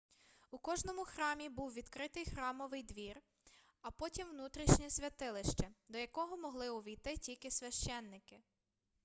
у кожному храмі був відкритий храмовий двір а потім внутрішнє святилище до якого могли увійти тільки священники